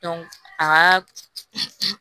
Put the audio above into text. a ka